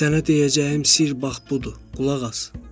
Sənə deyəcəyim sirr bax budur, qulaq as.